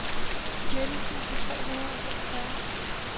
nitten tusind tre hundrede og femogfyrre